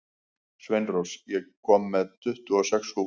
Sveinrós, ég kom með tuttugu og sex húfur!